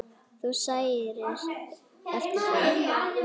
Þú sæir eftir því.